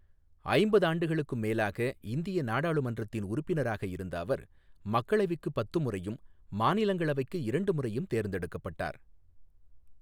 ஐம்பதாண்டுகளுக்கும் மேலாக இந்திய நாடாளுமன்றத்தின் உறுப்பினராக இருந்த அவர், மக்களவைக்குப் பத்து முறையும், மாநிலங்களவைக்கு இரண்டு முறையும் தேர்ந்தெடுக்கப்பட்டார்.